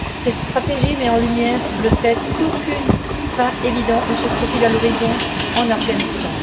Cette stratégie met en lumière le fait qu'aucune fin évidente ne se profile à l'horizon en Afghanistan.